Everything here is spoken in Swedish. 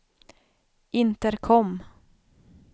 intercom